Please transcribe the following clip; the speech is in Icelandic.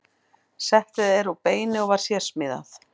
Settið er úr beini og var sérsmíðað.